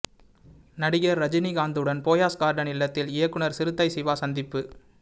நடிகர் ரஜினிகாந்துடன் போயஸ் கார்டன் இல்லத்தில் இயக்குநர் சிறுத்தை சிவா சந்திப்பு